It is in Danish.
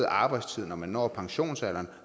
arbejdstid når man når pensionsalderen